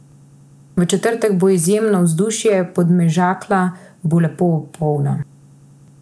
V četrtek bo izjemno vzdušje, Podmežakla bo lepo polna.